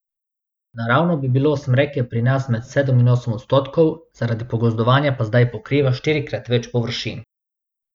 Naravno bi bilo smreke pri nas med sedem in osem odstotkov, zaradi pogozdovanja pa zdaj pokriva štirikrat več površin.